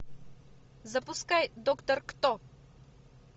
запускай доктор кто